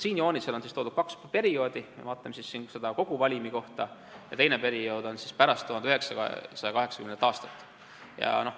Siin joonisel on toodud kaks perioodi: esiteks vaatame seda koguvalimi kohta ja teine periood on pärast 1980. aastat.